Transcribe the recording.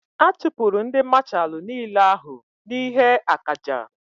A chupuru ndi mashalu n'ile ahu n'ihe akaja